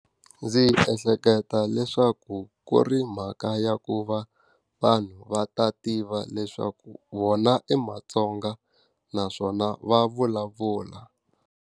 Ndzi ehleketa leswaku ku ri mhaka ya ku va vanhu va ta tiva leswaku vona i maTsonga naswona va vulavula.